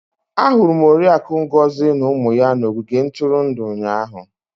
Ahụrụ m Oriakụ Ngozi na ụmụ ya n'ogige ntụrụndụ ụnyahụ.